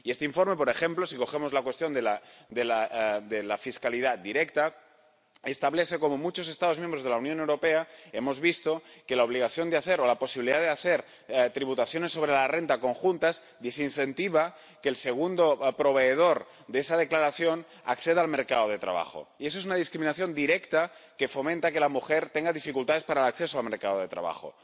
Y este informe, por ejemplo si hablamos de la cuestión de la fiscalidad directa, establece cómo en muchos Estados miembros de la Unión Europea hemos visto que la obligación de hacerlo, la posibilidad de hacer tributaciones sobre la renta conjuntas desincentiva que el segundo proveedor de esa declaración acceda al mercado de trabajo. Y eso es una discriminación directa que fomenta que la mujer tenga dificultades para el acceso al mercado de trabajo.